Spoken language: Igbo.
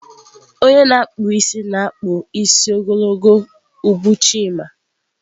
Onye na-akpụ isi na-akpụ isi ogologo ubu Chima.